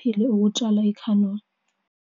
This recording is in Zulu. kube khona ukudla."